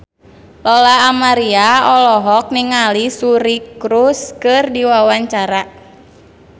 Lola Amaria olohok ningali Suri Cruise keur diwawancara